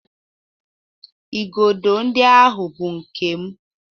Igodo ndị ahụ bụ nke m.